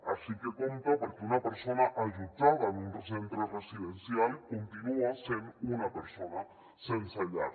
així que compte perquè una persona allotjada en un centre residencial continua sent una persona sense llar